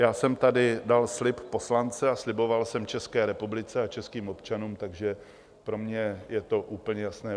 Já jsem tady dal slib poslance a sliboval jsem České republice a českým občanům, takže pro mě je to úplně jasné.